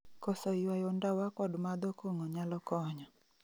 Koso yuayo ndawa kod madho kong'o nyalo konyo